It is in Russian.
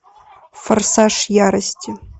форсаж ярости